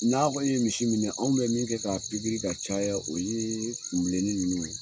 N'a kɔni ye misi minɛ, anw bɛ min kɛ ka pikiri ka caya, o ye kun bilenni ninnu ye